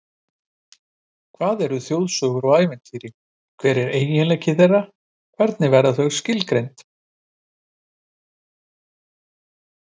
Hvað eru þjóðsögur og ævintýri, hver eru einkenni þeirra, hvernig verða þau skilgreind?